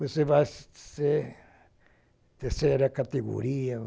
Você vai ser terceira categoria.